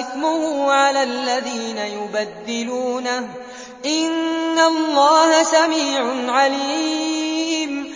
إِثْمُهُ عَلَى الَّذِينَ يُبَدِّلُونَهُ ۚ إِنَّ اللَّهَ سَمِيعٌ عَلِيمٌ